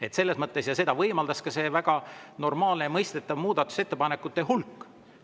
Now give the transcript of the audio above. Ja võimaldas ka see väga normaalne ja mõistetav muudatusettepanekute hulk.